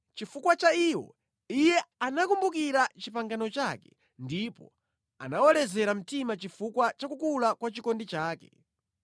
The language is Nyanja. Chifukwa cha iwo Iye anakumbukira pangano lake ndipo anawalezera mtima chifukwa cha kukula kwa chikondi chake.